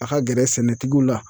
A ka gɛrɛ sɛnɛtigiw la.